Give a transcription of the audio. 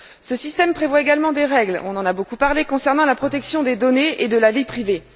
Ce système prévoit également des règles on en a beaucoup parlé concernant la protection des données et de la vie privée.